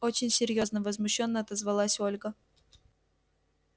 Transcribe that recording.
очень серьёзно возмущённо отозвалась ольга